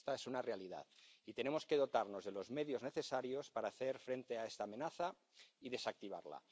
Esta es una realidad, y tenemos que dotarnos de los medios necesarios para hacer frente a esta amenaza y desactivarla.